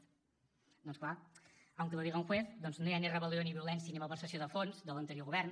doncs clar aunque lo diga un juez no hi ha ni rebel·lió ni violència ni malversació de fons de l’anterior govern